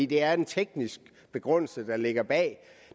det er en teknisk begrundelse der ligger bag